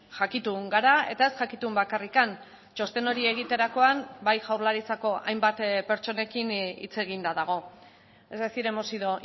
jakitun gara eta ez jakitun bakarrik txosten hori egiterakoan bai jaurlaritzako hainbat pertsonekin hitz eginda dago es decir hemos sido